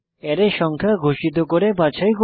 array সংখ্যা ঘোষিত করে বাছাই করা